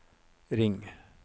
ring